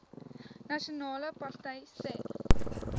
nasionale party sê